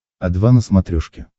о два на смотрешке